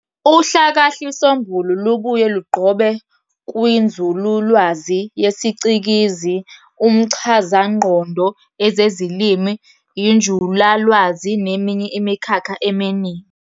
Uhlakahlisombulu lubuye lugqobe kwinzululwazi yesicikizi, umchazangqondo, ezezilimi, injulalwazi, neminye imikhakha eminingi.